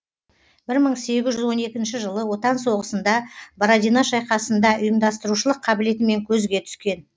бір мың сегіз жүз он екінші жылы отан соғысында бородино шайқасында ұйымдастырушылық қабілетімен көзге түскен